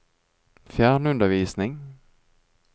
fjernundervisning